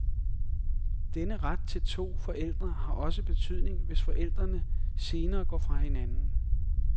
Denne ret til to forældre har også betydning, hvis forældrene senere går fra hinanden.